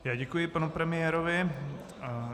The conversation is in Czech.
Já děkuji panu premiérovi.